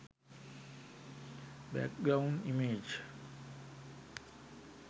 back ground image